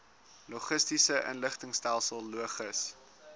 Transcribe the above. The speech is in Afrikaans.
logistiese inligtingstelsel logis